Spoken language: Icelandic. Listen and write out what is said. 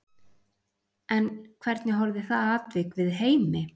En hvernig horfði það atvik við Heimi?